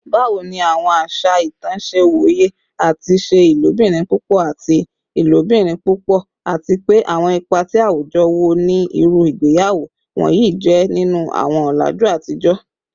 Bawo ni awọn aṣa itan ṣe woye ati ṣe ilobirin pupọ ati ilobirin pupọ, ati pe awọn ipa ti awujọ wo ni iru igbeyawo wọnyi jẹ ninu awọn ọlaju atijọ?